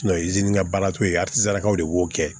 baara t'o ye de b'o kɛ